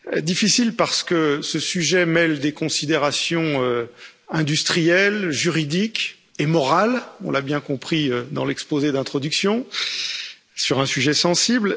Difficile, parce que ce sujet mêle des considérations industrielles, juridiques et morales, on l'a bien compris dans l'exposé d'introduction, sur un sujet sensible.